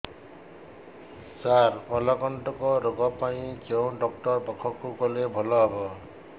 ସାର ମଳକଣ୍ଟକ ରୋଗ ପାଇଁ କେଉଁ ଡକ୍ଟର ପାଖକୁ ଗଲେ ଭଲ ହେବ